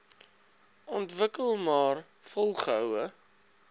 ontwikkel maar volgehoue